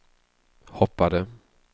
hoppade